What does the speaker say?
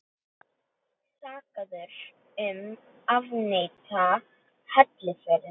Sakaður um að afneita helförinni